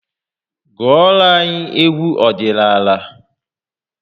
Gụọra anyị egwu ọdịnala!